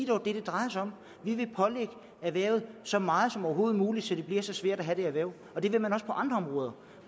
dog det det drejer sig om vi vil pålægge erhvervet så meget som overhovedet muligt så det bliver så svært at have det erhverv det vil man også på andre områder